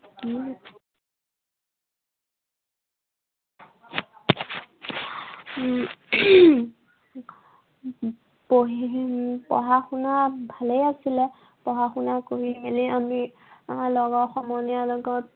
উম পঢ়ি, পঢ়া শুনাত ভালেই আছিলে। পঢ়া শুনা কৰি মেলি আমি আহ লগৰ সমনীয়াৰ লগত